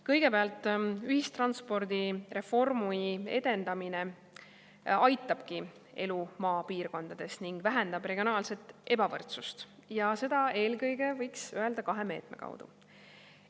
Kõigepealt, ühistranspordireform aitabki edendada elu maapiirkondades ning vähendab regionaalset ebavõrdsust ja seda eelkõige, võiks öelda, kahe meetme kaudu.